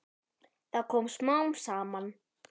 Það kom smám saman.